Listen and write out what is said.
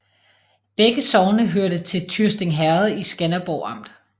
Begge sogne hørte til Tyrsting Herred i Skanderborg Amt